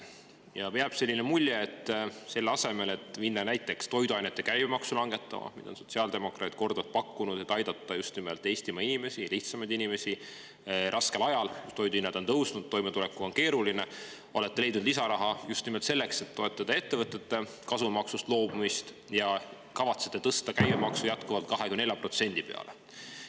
Jääb selline mulje, et selle asemel, et minna näiteks toiduainete käibemaksu langetama, mida sotsiaaldemokraadid on korduvalt pakkunud, et aidata just nimelt Eestimaa inimesi, just lihtsamaid inimesi, raskel ajal, kui toiduhinnad on tõusnud ja toime tulla on keeruline, olete leidnud lisaraha selleks, et toetada ettevõtete kasumimaksust loobumist, ja kavatsete jätkuvalt tõsta käibemaksu 24% peale.